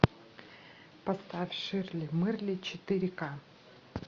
поставь ширли мырли четыре ка